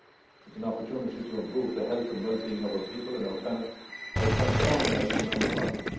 It's an opportunity to improve the health and wellbeing of our people and our planet by transforming our economic model.